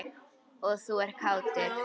Og þú ert kátur.